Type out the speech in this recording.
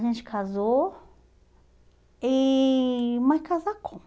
A gente casou, e mas casacou.